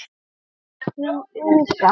Þín Inga.